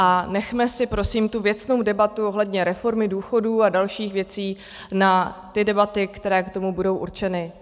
A nechme si prosím tu věcnou debatu ohledně reformy důchodů a dalších věcí na ty debaty, které k tomu budou určeny.